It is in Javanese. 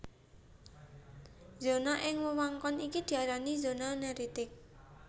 Zona ing wewengkon iki diarani zona neritik